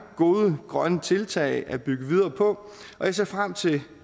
gode grønne tiltag at bygge videre på og jeg ser frem til